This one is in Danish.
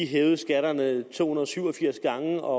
hævede skatterne to hundrede og syv og firs gange og